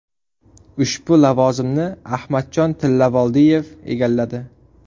Ushbu lavozimni Adhamjon Tillavoldiyev egalladi.